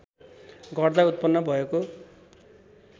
गर्दा उत्पन्न भएको